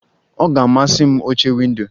Ọ ga-amasị m oche windo.